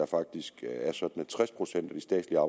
faktisk er sådan at tres procent af de statslige